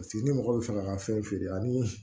Paseke ni mɔgɔ bɛ fɛ ka ka fɛn feere ani